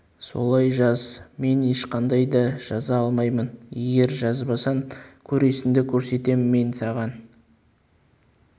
солай жаз мен ешқандай да жаза алмаймын егер жазбасаң көресіңді көрсетем мен саған